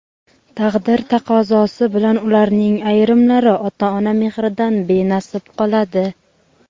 taqdir taqozosi bilan ularning ayrimlari ota-ona mehridan benasib qoladi.